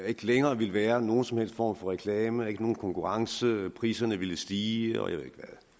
ikke længere ville være nogen som helst form for reklame ikke nogen konkurrence priserne ville stige og jeg ved